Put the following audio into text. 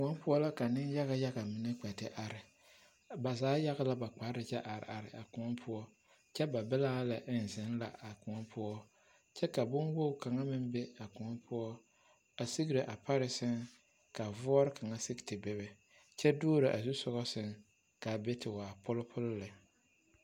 Kõɔ poɔ la ka nenyaɡayaɡa mine a kpɛ te are ba zaa yaɡe la ba kpar kyɛ are a kōɔ kyɛ ba bilaa lɛ eŋ zeŋ la a kõɔ poɔ kyɛ ka bonwoɡi kaŋa meŋ be a kõɔ poɔ a siɡre a pare sɛŋ ka voore kaŋa a siɡi te bebe kyɛ duoro a zusoɡa sɛŋ ka a be te waa polipoli lɛ.